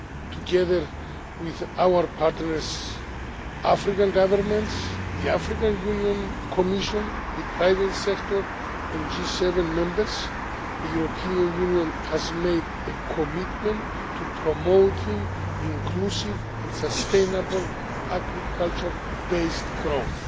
Together with our partners African governments, the African Union Commission, the private sector and G7 members the European Union has made a commitment to promoting inclusive and sustainable agriculture based growth.